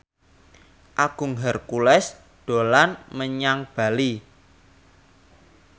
Agung Hercules dolan menyang Bali